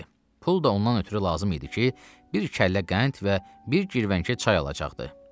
Pul da ondan ötrü lazım idi ki, bir kəllə qənd və bir girvəngə çay alacaqdı.